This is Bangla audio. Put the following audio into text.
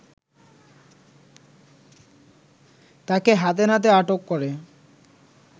তাকে হাতেনাতে আটক করে